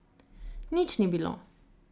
Nič ni bilo.